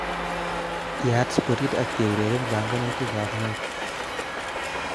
Yaat spotit ak keureren banganutikab motu